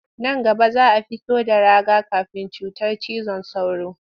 Nan gaba za a fito da raga-kafin cutar cizon sauro